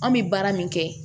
An bɛ baara min kɛ